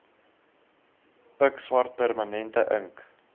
pikswart permanente ink